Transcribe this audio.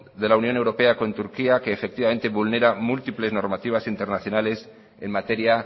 de la unión europea con turquía que efectivamente vulnera múltiples normativas internacionales en materia